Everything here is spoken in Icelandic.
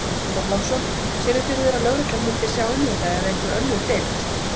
Björn Þorláksson: Sérðu fyrir þér að lögreglan myndi sjá um þetta eða einhver önnur deild?